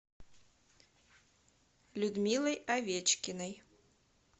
людмилой овечкиной